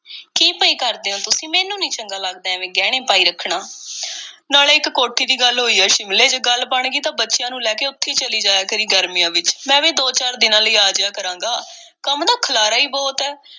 ਕੀ ਪਏ ਕਰਦੇ ਓ ਤੁਸੀਂ, ਮੈਨੂੰ ਨਹੀਂ ਚੰਗਾ ਲੱਗਦਾ, ਐਵੇਂ ਗਹਿਣੇ ਪਾਈ ਰੱਖਣਾ, ਨਾਲੇ ਇੱਕ ਕੋਠੀ ਦੀ ਗੱਲ ਹੋਈ ਏ ਸ਼ਿਮਲੇ, ਜੇ ਗੱਲ ਬਣ ਗਈ ਤਾਂ ਬੱਚਿਆਂ ਨੂੰ ਲੈ ਕੇ ਉੱਥੇ ਚਲੀ ਜਾਇਆ ਕਰੀਂ ਗਰਮੀਆਂ ਵਿੱਚ। ਮੈਂ ਵੀ ਦੋ-ਚਾਰ ਦਿਨਾਂ ਲਈ ਆ ਜਾਇਆ ਕਰਾਂਗਾ। ਕੰਮ ਦਾ ਖਿਲਾਰਾ ਈ ਬਹੁਤ ਏ ।